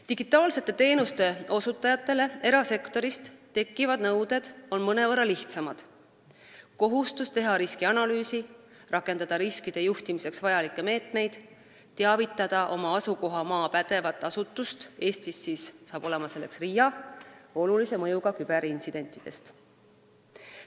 Digitaalsete teenuste osutajatele erasektoris tekkivad nõuded on mõnevõrra lihtsamad: kohustus teha riskianalüüsi, rakendada riskide juhtimiseks vajalikke meetmeid, teavitada oma asukohamaa pädevat asutust olulise mõjuga küberintsidentidest.